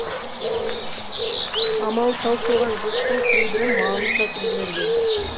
амалы таусылған жұрттың кейбірі малын сатып жіберген